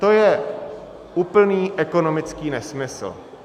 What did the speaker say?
To je úplný ekonomický nesmysl.